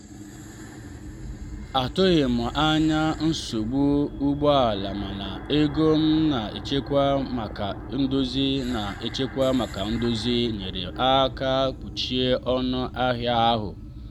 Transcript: atụghị m anya nsogbu ụgbọ ala mana ego m na-echekwa maka ndozi na-echekwa maka ndozi nyeere aka kpuchie ọnụ ahịa ahụ.